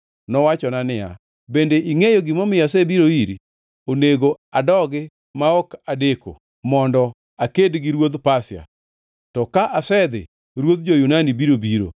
Nowachona niya, “Bende ingʼeyo gimomiyo asebiro iri? Onego adogi ma ok adeko mondo aked gi ruodh Pasia, to ka asedhi, ruodh jo-Yunani biro biro;